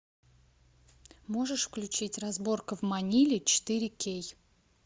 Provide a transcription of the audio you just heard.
можешь включить разборка в маниле четыре кей